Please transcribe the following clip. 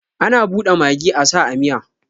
Ana bude magi asa a miya